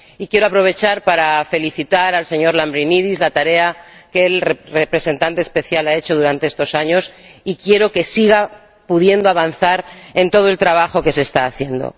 Y quiero aprovechar para felicitar al señor Lambrinidis la tarea que el representante especial ha hecho durante estos años y quiero que siga pudiendo avanzar en todo el trabajo que se está haciendo.